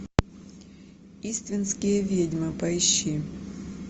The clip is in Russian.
иствикские ведьмы поищи